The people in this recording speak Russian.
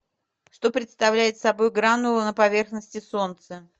что представляют собой гранулы на поверхности солнца